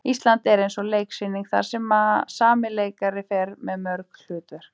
Ísland er eins og leiksýning þar sem sami leikari fer með mörg hlutverk.